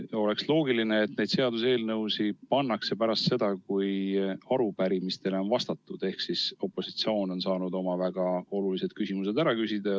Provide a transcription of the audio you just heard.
Oleks loogiline, et seaduseelnõud on päevakorras pärast seda, kui arupärimistele on vastatud ehk siis opositsioon on saanud oma väga olulised küsimused ära küsida.